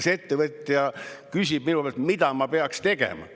See ettevõtja küsib minu käest, mida ta peaks tegema.